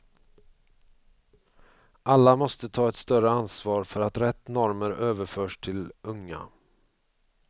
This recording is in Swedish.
Alla måste ta ett större ansvar för att rätt normer överförs till unga.